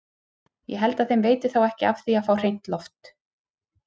Ég held að þeim veiti þá ekki af því að fá hreint loft!